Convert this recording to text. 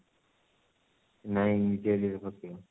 ନାଇଁ ନିଜ area ରେ ପକେଇବ